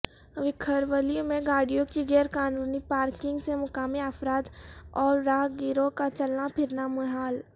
وکھرولی میں گاڑیوں کی غیرقانونی پارکنگ سےمقامی افراد اورراہ گیروں کا چلنا پھرنا محال